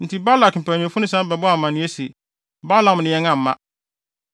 Enti Balak mpanyimfo no san bɛbɔɔ amanneɛ se, “Balaam ne yɛn amma.”